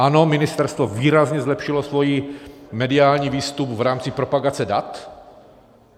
Ano, ministerstvo výrazně zlepšilo svůj mediální výstup v rámci propagace dat.